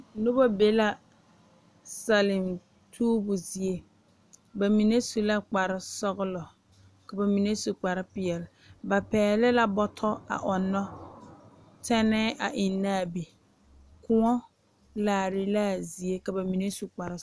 Noba be la Salem tuubu zie ba mine su la kpar sɔgelɔ ka ba mine su kpar peɛle ba pɛgele la bɔtɔ a ɔnnɔ tɛnnee a eŋ naŋ a be Kóɔ laare la a zie ka ba mine su kpar